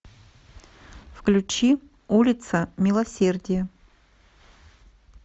включи улица милосердия